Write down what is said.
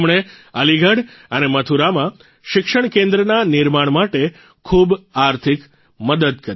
તેમણે અલીગઢ અને મથુરામાં શિક્ષણ કેન્દ્રના નિર્માણ માટે ખૂબ આર્થિક મદદ કરી